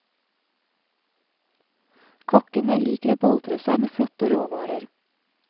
Kokkene liker å boltre seg med flotte råvarer.